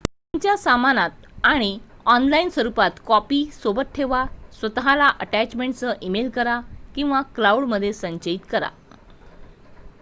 "तुमच्या सामानात आणि ऑनलाइन स्वरुपात कॉपी सोबत ठेवा स्वत:ला अटॅचमेंटसह ईमेल करा किंवा "क्लाउड""मध्ये संचयित करा"".